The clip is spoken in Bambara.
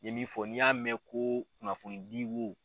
N ye min fɔ n'i y'a mɛn ko kunnafonidi wo